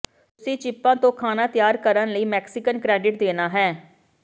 ਤੁਸੀਂ ਚਿੱਪਾਂ ਤੋਂ ਖਾਣਾ ਤਿਆਰ ਕਰਨ ਲਈ ਮੈਕਸੀਕਨ ਕ੍ਰੈਡਿਟ ਦੇਣਾ ਹੈ